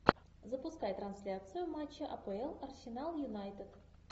запускай трансляцию матча апл арсенал юнайтед